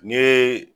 N ye